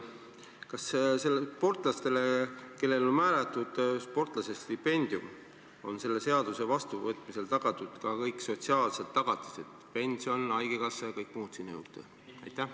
Kas sportlastele, kellele on määratud sportlasestipendium, on selle seaduse vastuvõtmise korral tagatud ka kõik sotsiaalsed tagatised: pension, haigekassa ja kõik muu sinna juurde?